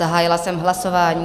Zahájila jsem hlasování.